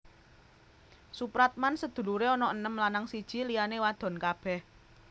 Soepratman sedulure ana enem lanang siji liyane wadon kabeh